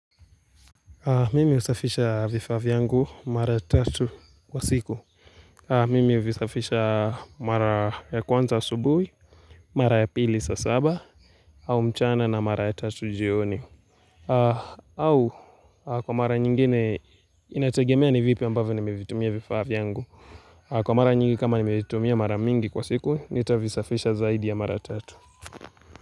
Mimi husafisha vifaa vyangu mara tatu kwa siku. Mimi huvisafisha mara ya kwanza asubuhi, mara ya pili saa saba, au mchana na mara ya tatu jioni. Au, kwa mara nyingine, inategemea ni vipi ambavyo nimevitumia vifaa vyangu. Kwa mara nyingi kama nimevitumia mara mingi kwa siku, nitavisafisha zaidi ya mara ya tatu.